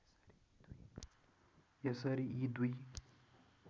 यसरी यी दुई